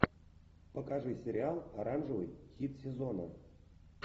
покажи сериал оранжевый хит сезона